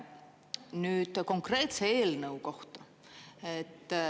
Nüüd konkreetse eelnõu kohta.